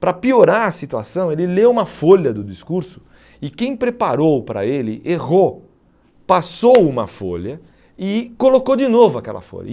Para piorar a situação, ele leu uma folha do discurso e quem preparou para ele errou, passou uma folha e colocou de novo aquela folha.